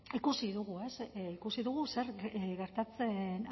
ikusi dugu ikusi dugu zer gertatzen